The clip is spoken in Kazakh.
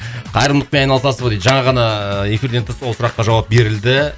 қайырымдылықпен айналасыз ба дейді жаңа ғана ыыы эфирден тыс ол сұраққа жауап берілді